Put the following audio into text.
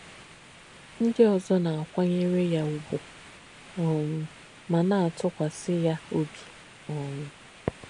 Ndí ózọ̀ nà-àkwányérè yà ụ̀gwù um mà nà-àtùkwàsì yà òbī. um